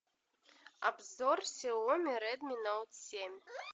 обзор сяоми редми ноут семь